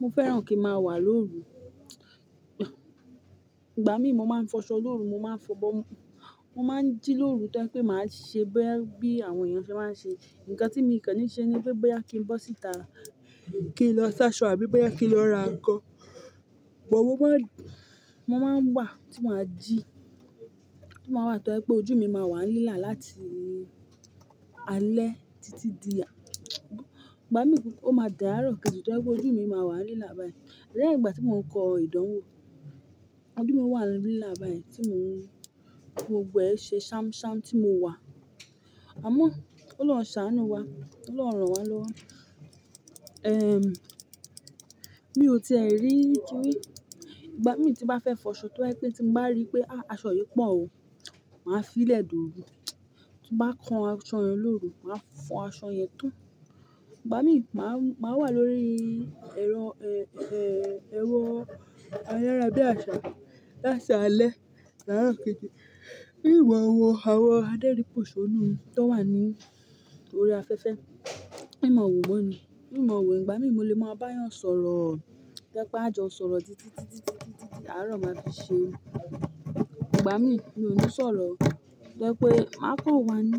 Mo fẹ́ràn kí màá wà lóru. Ìgbà mí mo máa ń fọṣọ lóru, mo máa ń fọ̀bọ́, mo máa ń jí lóru tó jẹ pé màá ṣe bí àwọn èèyàn ṣe máa ń ṣe. Ǹkan tí mi kan ní ṣe ni pé bóyá kí n bọ́ síta kí n lọ sáṣọ àbí bóyá kí n lọ ra ǹkan. Bo mo máa ń wà tí maa jí, tí máa wà tó je pé ojú mi máa wà nílà láti alẹ́ títí di al-- ìgbà mí ó máa di àárọ̀ kejì tó jepé ojú mi máa wà nílà báyìí. Lẹ́yìn ìgbà tí mò ń kọ ìdánwò, ojú mi wà nílà báyìí tí mò ń gbogbo ẹ ṣe ṣámṣám tí mo wà. Àmọ́, Olọ́run ṣàánú wa, Olọ́run ràn wá lọ́wọ́. Ẹ́ẹ̀m, mí ò tẹẹ rí tori, ìgbà mí tí n bá fẹ́ fọṣọ tó ba je pé tí mo bá rí pé aṣọ yìí pọ̀ o, màá fí lẹ̀ doru. Tí n bá ko aṣọ yẹn lóru, màá fọn aṣọ yẹn tan Ìgbà mí ni màá, wà lórí ẹ̀rọ, e-e-ẹ́rọ́ ayára bí àsá lásalẹ́, di àárọ̀ kejì. Ímọ wọ̀, àwọn adẹ́rípòṣónù tó wà ní orí afẹ́fẹ́, ímọ wọ̀ won ni. Ímọ wọ̀ ìgbà mí mo lè máa bá yàn sọ̀rọ̀ tó jẹ pé a jọ sọ̀rọ̀ títítí, títí, títí, títí àárọ̀ máa fi ṣe. Ìgbà mí mi ò ní sọ̀rọ̀ tó jẹ pé máa kàn wá ní.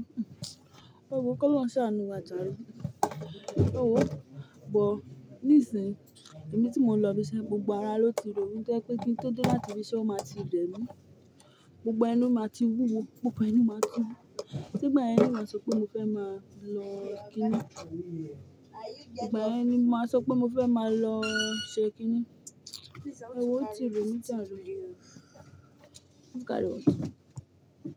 Ẹwo ki Olọ́run ṣàánú wa jàre. Ẹwó bọ́. Nísìyí, ẹ̀mí tí mò ń lọ ibiṣẹ́ gbogbo ara ló ti ro mi tó jẹ pé kí n tó dé láti ibiṣẹ́ ó máa ti rẹ̀mí. Gbogbo ẹnu máa ti wúwo, gbogbo ẹnu máa ti wú. Shey igbà yen ni màá sọ pé mo fẹ́ máa lọ kíni. Ígbà yẹn ni màá sọ pé mo fẹ́ máa lọ ṣe kíni. Ẹwọ́ oo ti re mí jàre. Ọ̀dárọ.